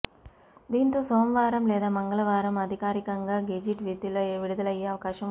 దీంతో సోమవారం లేదా మంగళవారం అధికారికంగా గెజిట్ విడుదలయ్యే అవకాశం ఉంది